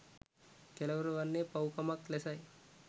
කෙළවර වන්නේ පව්කමක් ලෙසයි.